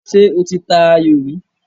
Ṣé o ti ta ayò rí?